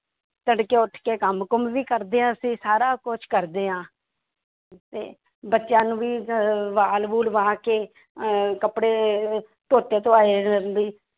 ਤੜਕੇ ਉੱਠ ਕੇ ਕੰਮ ਕੁੰਮ ਵੀ ਕਰਦੇ ਹਾਂ ਅਸੀਂ ਸਾਰਾ ਕੁਛ ਕਰਦੇ ਹਾਂ ਤੇ ਬੱਚਿਆਂ ਨੂੰ ਵੀ ਅਹ ਬਾਲ ਬੂਲ ਵਾਹ ਕੇ ਅਹ ਕੱਪੜੇ ਧੋਤੇ ਧੁਆਏ ਵੀ